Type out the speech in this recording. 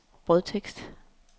brødtekst